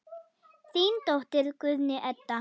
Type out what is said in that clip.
Þín dóttir, Guðný Edda.